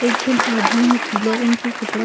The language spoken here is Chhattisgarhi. एक झन आदमी ह पीला रंग के कपड़ा --